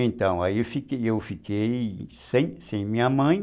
Então, aí eu fiquei eu fiquei sem sem minha mãe.